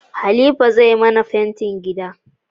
Khalifa zai mana fentin gida